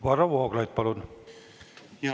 Varro Vooglaid, palun!